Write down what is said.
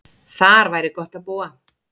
Þar væri gott að búa.